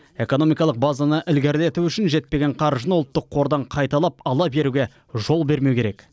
экономикалық базаны ілгерілету үшін жетпеген қаржыны ұлттық қордан қайталап ала беруге жол бермеу керек